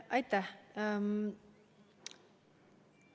Aitäh!